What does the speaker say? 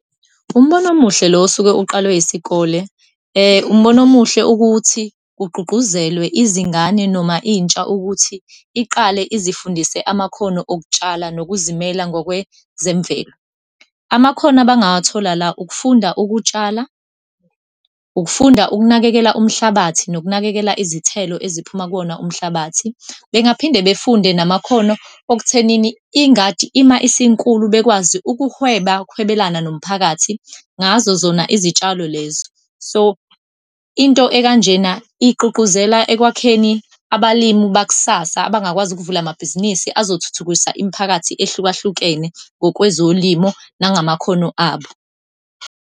Umbono omuhle lo osuke uqalwe isikole. Umbono omuhle ukuthi kugqugquzelwe izingane noma intsha ukuthi iqale izifundise amakhono okutshala nokuzimela ngokwezemvelo. Amakhono abangawathola la, ukufunda ukutshala, ukufunda ukunakekela umhlabathi, nokunakekela izithelo eziphuma kuwona umhlabathi. Bengaphinde befunde namakhono okuthenini ingadi, ima isinkulu, bekwazi ukuhweba, ukuhwebelana nomphakathi ngazo zona izitshalo lezo. So, into ekanjena igqugquzela ekwakheni abalimi bakusasa, abangakwazi ukuvula amabhizinisi azothuthukisa imiphakathi ehlukahlukene ngokwezolimo nangumakhono abo.